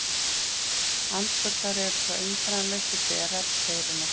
Andfuglar eru þó einkennalausir berar veirunnar.